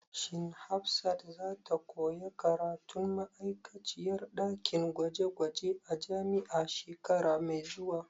Shin Hafsat za ta koya karatun ma'aikaciyar ɗakin gwaje gwaje a jami'a shekara mai zuwa?